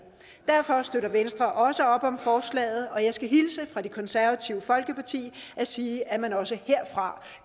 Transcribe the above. derfor støtter venstre også op om forslaget og jeg skal hilse fra det konservative folkeparti og sige at man også herfra